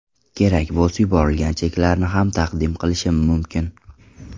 Kerak bo‘lsa yuborilgan cheklarni ham taqdim qilishim mumkin.